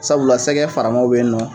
Sabula sɛgɛ faramaw bɛ yen nɔ.